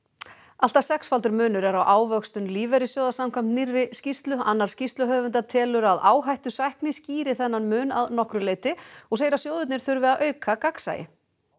allt að sexfaldur munur er á ávöxtun lífeyrissjóða samkvæmt nýrri skýrslu annar tveggja skýrsluhöfunda telur að áhættusækni skýri þennan mun að nokkru leyti og segir að sjóðirnir þurfi að auka gagnsæi